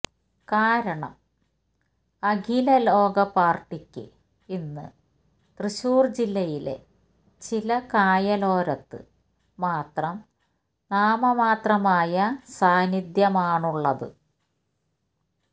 കാരണം അഖിലലോക പാര്ട്ടിക്ക് ഇന്ന് തൃശൂര് ജില്ലയിലെ ചില കായലോരത്ത് മാത്രം നാമമാത്രമായ സാന്നിധ്യമാണുള്ളത്